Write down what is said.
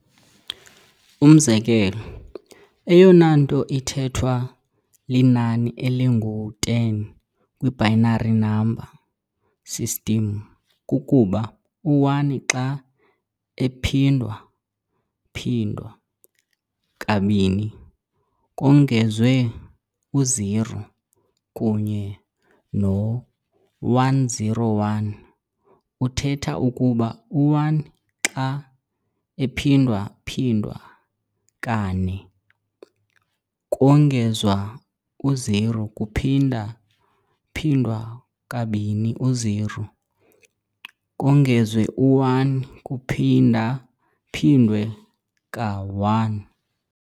Umzekelo, eyona nto ithethwa linani elingu-10 kwi-binary number system kukuba u-1 xa ephindwa-phindwa ka-2 kongezwe u-0, kunye no-101 uthetha ukuba u-1 xa ephindwa-phindwa kane, 4, kongezwa u-0 kuphinda-phindwa kabini, 0, kongezwe u-1 kuphinda-phindwe ka-1.